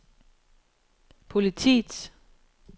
politiets